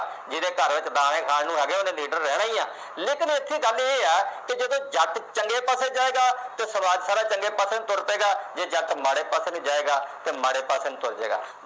ਜਿਹੜੇ ਘਰ ਵਿਚ ਦਾਣੇ ਖਾਣ ਨੂੰ ਹੈਗੇ ਉਹਨੇ ਲੀਡਰ ਰਹਿਣਾ ਈ ਆ ਲੇਕਿਨ ਇਥੇ ਗੱਲ ਇਹ ਆ ਕਿ ਜਦੋਂ ਜੱਟ ਚੰਗੇ ਪਾਸੇ ਜਾਏਗਾ ਤੇ ਸਮਾਜ ਸਾਰਾ ਚੰਗਾ ਪਾਸੇ ਤੁਰ ਪਏਗਾ ਜੇ ਜੱਟ ਮਾੜੇ ਪਾਸੇ ਨੂੰ ਜਾਏਗਾ ਤੇ ਮਾੜੇ ਪਾਸੇ ਨੂੰ ਤੁਰ ਜੇ ਗਾ